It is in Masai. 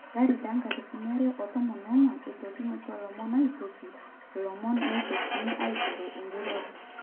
2014, etolimutuo lomon aitoki ilomoni neitokini aiteru ejurore.